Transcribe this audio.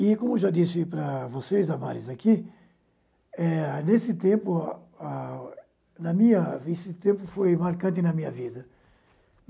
E, como já disse para vocês, Damaris, aqui, eh nesse tempo ah na minha nesse tempo foi marcante na minha vida.